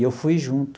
E eu fui junto.